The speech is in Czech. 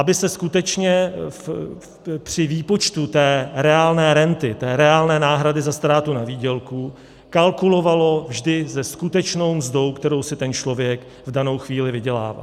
Aby se skutečně při výpočtu té reálné renty, té reálné náhrady za ztrátu na výdělku, kalkulovalo vždy se skutečnou mzdou, kterou si ten člověk v danou chvíli vydělává.